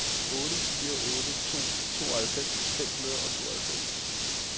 otte fire otte to tooghalvfems fem hundrede og tooghalvfems